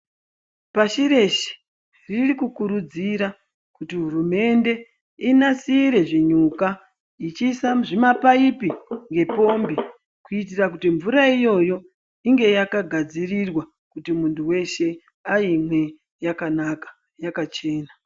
Pashi reshe riri kukuridzira kuti hurumende inasire zvinyuka ichiisa muzvima paipi ngepombi kuitira kuti mvura iyoyo inge yakagadzirirwa kuti muntu weshe ayimwe yakanaka yakachena